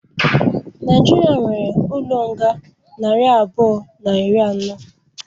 Naijiria nwéré ụlọ nga narị abụọ na iri ano